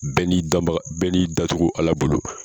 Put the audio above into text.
Bɛɛ n'i danbaga, bɛɛ n'i dancogo ala bolo.